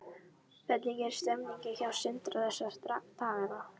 Hvernig er stemningin hjá Sindra þessa dagana?